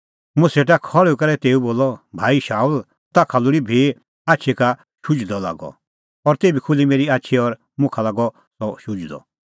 मुंह सेटा खल़्हुई करै तेऊ बोलअ भाई शाऊल ताखा लोल़ी भी आछी का शुझणअ लागअ और तेभी खुल्ही मेरी आछी और मुखा लागअ सह शुझदअ